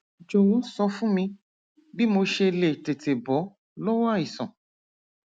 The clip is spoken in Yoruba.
jọwọ sọ fún mi bí mo ṣe lè tètè bọ lọwọ àìsàn